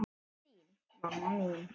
Til þín, mamma mín.